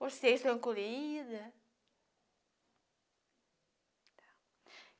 Você estão encolhida.